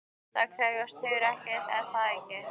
Það krefst hugrekkis, er það ekki?